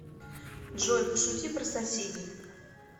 джой пошути про соседей